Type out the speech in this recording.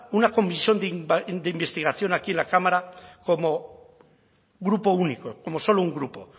una comisión de investigación aquí en la cámara como grupo único como solo un grupo